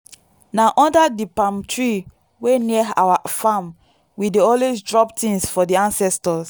na under the palm tree wey near our farm we dey always drop things for the ancestors.